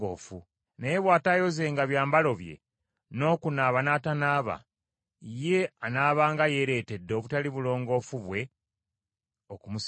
Naye bw’ataayozenga byambalo bye, n’okunaaba n’atanaaba, ye anaabanga yeeretedde obutali bulongoofu bwe okumusigalako.”